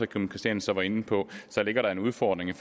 kim christiansen var inde på en udfordring